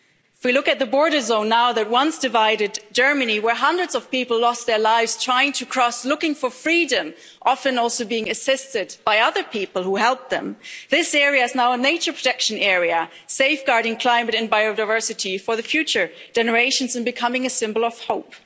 If you look at the border zone now that once divided Germany, where hundreds of people lost their lives trying to cross looking for freedom, often also being assisted by other people who helped them, this area is now a major production area, safeguarding climate and biodiversity for the future generations and becoming a symbol of hope.